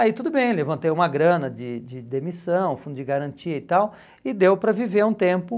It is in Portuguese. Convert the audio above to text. Aí tudo bem, levantei uma grana de de demissão, fundo de garantia e tal, e deu para viver um tempo.